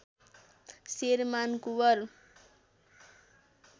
Sherman Kunwar